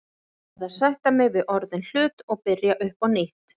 Ég verð að sætta mig við orðinn hlut og byrja upp á nýtt.